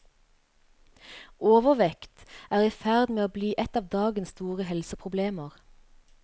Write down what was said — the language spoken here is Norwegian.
Overvekt er i ferd med å bli et av dagens store helseproblemer.